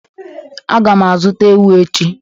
Aga m azụta ewu echi.